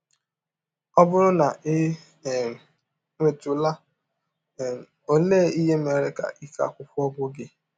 Ọ bụrụ na i um nwetụla um, ọlee ihe mere ka ike akwụkwọ gwụ gị?